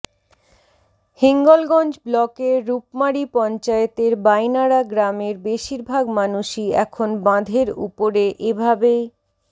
হিঙ্গলগঞ্জ ব্লকের রূপমারি পঞ্চায়েতের বাইনাড়া গ্রামের বেশিরভাগ মানুষই এখন বাঁধের উপরে এ ভাবেই